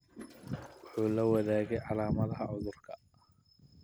Wuxuu la wadaagay calaamadaha cudurka.